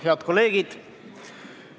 Head kolleegid!